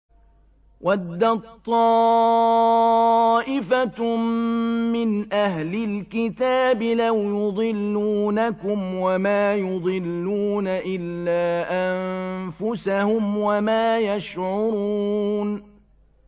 وَدَّت طَّائِفَةٌ مِّنْ أَهْلِ الْكِتَابِ لَوْ يُضِلُّونَكُمْ وَمَا يُضِلُّونَ إِلَّا أَنفُسَهُمْ وَمَا يَشْعُرُونَ